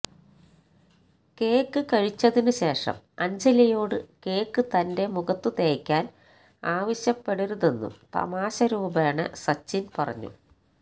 cake കഴിച്ചതിനു ശേഷം അഞ്ജലിയോട് കേക്ക് തന്റെ മുഖത്തു തേയ്ക്കാന് ആവശ്യപ്പെടരുതെന്നും തമാശരൂപേണ സച്ചിന് പറഞ്ഞു